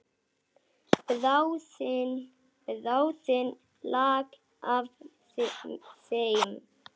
Bráðin lak af þeim.